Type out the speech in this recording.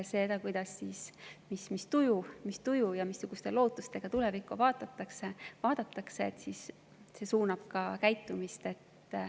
See, mis tujuga ja missuguste lootustega tulevikku vaadatakse, suunab ka käitumist.